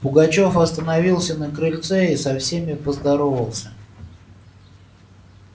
пугачёв остановился на крыльце и со всеми поздоровался